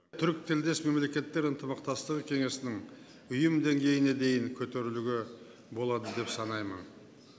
түркітілдес мемлекеттер ынтымақтастығы кеңесін ұйым деңгейіне дейін көтеруге болады деп санаймын